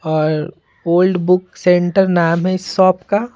और old book centre नाम है इस शॉप का--